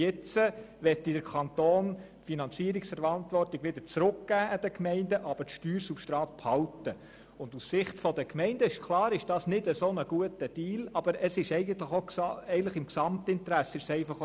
Jetzt möchte der Kanton die Finanzierungsverantwortung an die Gemeinden zurückgeben, aber das Steuersubstrat behalten.